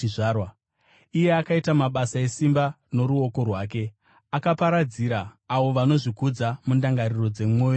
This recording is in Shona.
Iye akaita mabasa esimba noruoko rwake; akaparadzira avo vanozvikudza mundangariro dzemwoyo yavo.